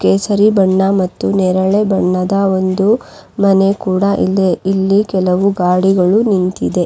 ಕೇಸರಿ ಬಣ್ಣ ಮತ್ತು ನೇರಳೆ ಬಣ್ಣದ ಒಂದು ಮನೆ ಕೂಡ ಇದೆ ಇಲ್ಲಿ ಕೆಲವು ಗಾಡಿಗಳು ನಿಂತಿದೆ.